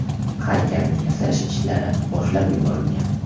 Haykalni yasash ishlari boshlab yuborilgan.